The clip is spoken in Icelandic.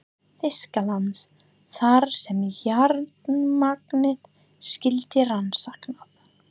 Þýskalands, þar sem járnmagnið skyldi rannsakað.